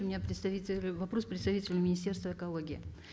у меня вопрос к представителю министерства экологии